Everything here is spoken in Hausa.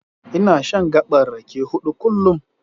Ina shan gaɓar rake huɗu kullum.